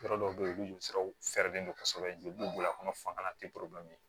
Yɔrɔ dɔw bɛ yen olu joli siraw fɛrɛlen don kosɛbɛ joli bɔ a kɔnɔ